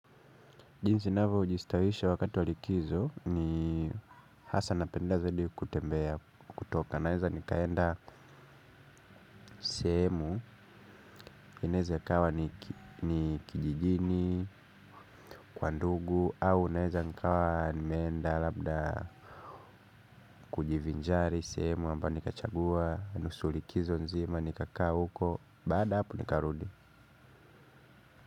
Jinsi ninavyojistawisha wakati wa likizo ni hasa napenda zaidi kutembea kutoka, naweza nikaenda sehemu, inaweza ikawa ni kijijini, kwa ndugu au naweza nikawa nimeenda labda kujivinjari sehemu ambayo nikachagua, nusu likizo nzima, nikakaa huko, baada ya hapo nikarudi.